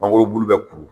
Mangoro bulu bɛ kuru